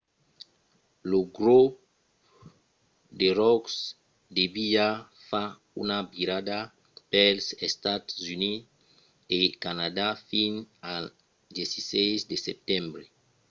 lo grop de ròck deviá fa una virada pels estats units e canadà fins al 16 de setembre